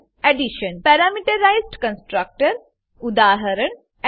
addition parameterised constructor parameterised constructor ઉદા